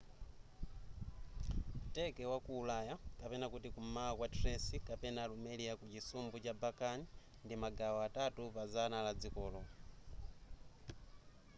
turkey wa ku ulaya kum'mawa kwa thrace kapena rumelia ku chisumbu cha balkan ndi magawo atatu pa zana la dzikolo